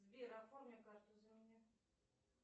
сбер оформи карту за меня